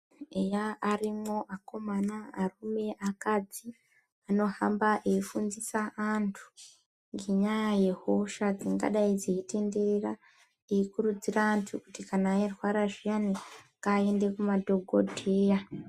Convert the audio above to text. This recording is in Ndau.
Eya arimwo akaomana arume neakadzi anohamba eyifundisa antu ngenyaya yehosha dzingadai dzeyitenderera dzeyikuridzira vantu kuti kana veirwara zviyani ngavaende kuma dhokodheya .